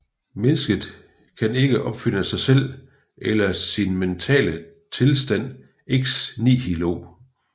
Mennesket kan ikke opfinde sig selv eller sin mentale tilstand ex nihilo